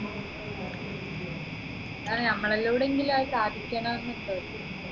A അതെന്നെ നമ്മളിലൂടെ എങ്കിലും അത് സാധിക്കണമെന്നുണ്ടെ